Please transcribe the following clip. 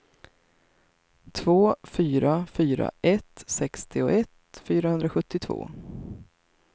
två fyra fyra ett sextioett fyrahundrasjuttiotvå